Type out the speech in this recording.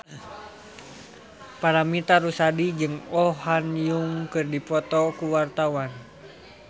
Paramitha Rusady jeung Oh Ha Young keur dipoto ku wartawan